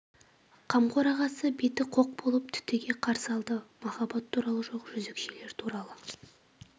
қамқор ағасы беті қоқ болып түтіге қарсы алды махаббат туралы жоқ жезөкшелер туралы